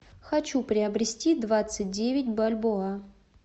хочу приобрести двадцать девять бальбоа